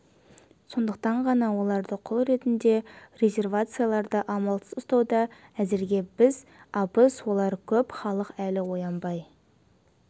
сондықтан ғана оларды құл ретінде резервацияларда амалсыз ұстауда әзірге біз азбыз олар көп халық әлі оянбай